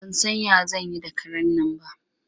Ba san ya zan yi da karen nan ba.